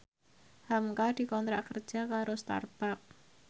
hamka dikontrak kerja karo Starbucks